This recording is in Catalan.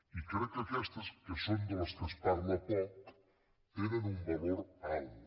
i crec que aquestes que són de les que se’n parla poc tenen un valor alt